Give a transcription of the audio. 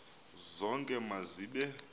zonke ma zibe